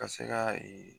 Ka se ka ee